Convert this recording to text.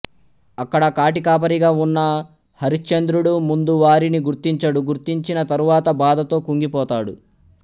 అక్కడ కాటికాపరిగా ఉన్న హరిశ్చంద్రుడు ముందు వారిని గుర్తించడు గుర్తించిన తరువాత బాధతో కుంగిపోతాడు